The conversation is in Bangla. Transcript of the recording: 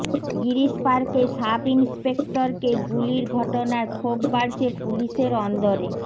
গিরীশ পার্কে সাব ইন্সপেক্টরকে গুলির ঘটনায় ক্ষোভ বাড়ছে পুলিসের অন্দরে